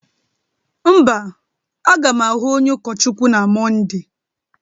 mba, a ga'm ahụ onye ụkọchukwuna na Mọnde